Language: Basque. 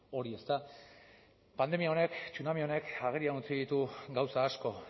hori ezta pandemia honek tsunami honek agerian utzi ditu gauza asko